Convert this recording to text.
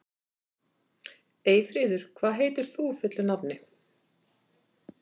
Eyfríður, hvað heitir þú fullu nafni?